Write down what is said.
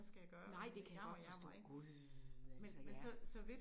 Nej det kan jeg godt forstå! Gud altså ja